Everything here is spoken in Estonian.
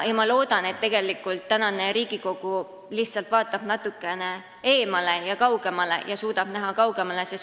Ma loodan, et tegelikult Riigikogu vaatab natuke eemale ja suudab näha kaugemale.